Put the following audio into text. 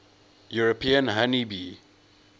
european honey bee